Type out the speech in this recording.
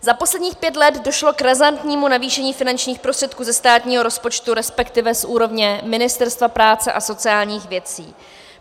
Za posledních pět let došlo k razantnímu navýšení finančních prostředků ze státního rozpočtu, respektive z úrovně Ministerstva práce a sociálních věcí.